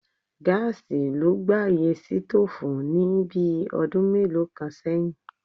Gáàsì ló gbàyè sítóòfù ní bí ọdún mélòó kan sẹ́yìn.